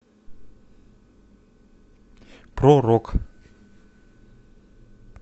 про рок